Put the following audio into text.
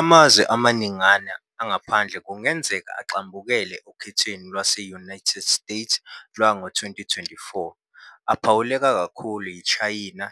Amazwe amaningana angaphandle kungenzeka agxambukele okhethweni lwase - United States lwango - 2024, aphawuleka kakhulu yiTshayna,